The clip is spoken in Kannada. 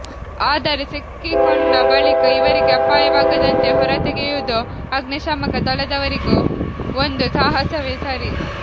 ಆದರೆ ಸಿಕ್ಕಿಕೊಂಡ ಬಳಿಕ ಇವರಿಗೆ ಅಪಾಯವಾಗದಂತೆ ಹೊರತೆಗೆಯುವುದೂ ಅಗ್ನಿಶಾಮಕ ದಳದವರಿಗೂ ಒಂದು ಸಾಹಸವೇ ಸರಿ